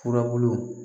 Furabulu